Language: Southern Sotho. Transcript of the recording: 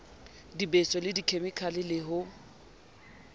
dibeso le dikhemikale le ho